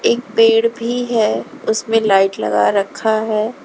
एक पेड़ भी है उसमें लाइट लगा रखा है।